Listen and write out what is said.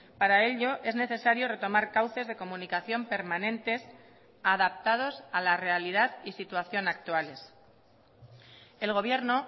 para ello es necesario retomar cauces de comunicación permanentes adaptados a la realidad y situación actuales el gobierno